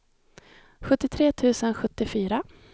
sjuttiotre tusen sjuttiofyra